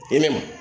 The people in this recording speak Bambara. I ne